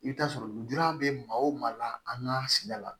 I bɛ taa sɔrɔ lujura bɛ maa o maa la an ka sigida la